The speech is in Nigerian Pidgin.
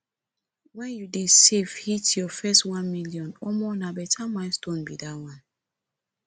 wen you dey save hit your first 1 million omo na beta milestone be dat one